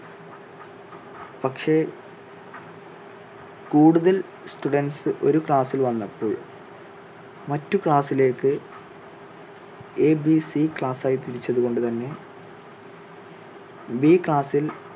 പക്ഷേ കൂടുതൽ students ഒരു class ിൽ വന്നപ്പോൾ മറ്റ് class ിലേക്ക് എ, ബി, സി class ായി തിരിച്ചത് കൊണ്ട് തന്നെ ബി class ിൽ